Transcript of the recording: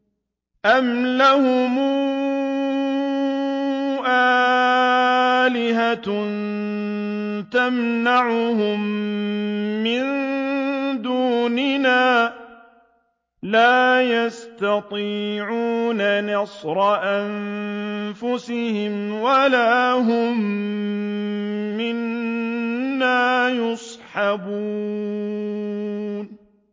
أَمْ لَهُمْ آلِهَةٌ تَمْنَعُهُم مِّن دُونِنَا ۚ لَا يَسْتَطِيعُونَ نَصْرَ أَنفُسِهِمْ وَلَا هُم مِّنَّا يُصْحَبُونَ